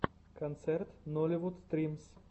концерт нолливуд стримс